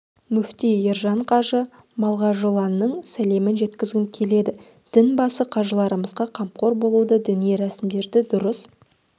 мүфти ержан қажы малғажыұлының сәлемін жеткізгім келеді дін басы қажыларымызға қамқор болуды діни рәсімдерді дұрыс